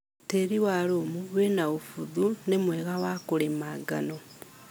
Tĩri wa lũmu wĩna ũbuthu nĩmwega wa kũrĩma ngano.